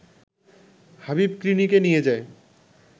হাবিব ক্লিনিকে নিয়ে যায়